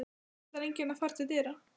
Ætlar enginn að fara til dyra?